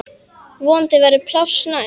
Vonandi verður pláss næst.